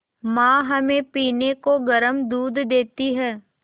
माँ हमें पीने को गर्म दूध देती हैं